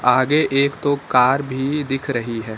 आगे एक दो कार भी दिख रही है।